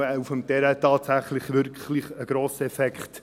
Denn man hat auf dem Terrain tatsächlich einen grossen Effekt.